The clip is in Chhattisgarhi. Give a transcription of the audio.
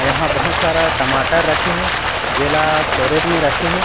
यहाँ बहुत सारा टमाटर रखे हे जेला कैरेट में रखे हें।